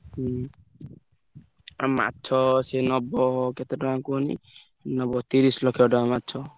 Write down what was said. ହୁଁ ଆଉ ମାଛ ସେ ନବ କେତେ ଟଙ୍କା କୁହନି ନବ ତିରିଶି ଲକ୍ଷ ଟଙ୍କା ମାଛ।